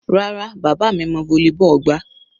Rárá, bàbá mi mọ volleyball gbá.